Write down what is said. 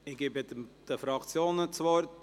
Ich erteile den Fraktionen das Wort.